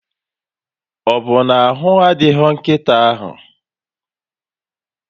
Ọbụ na ahụ adịghị nkịta ahụ?